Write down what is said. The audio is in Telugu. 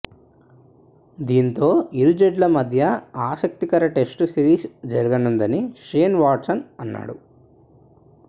దీంతో ఇరు జట్ల మధ్య ఆసక్తికర టెస్టు సిరీస్ జరగనుందని షేన్ వాట్సన్ అన్నాడు